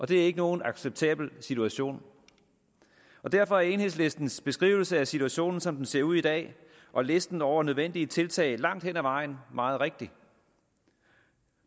det er ikke nogen acceptabel situation og derfor er enhedslistens beskrivelse af situationen som den ser ud i dag og listen over nødvendige tiltag langt hen ad vejen meget rigtig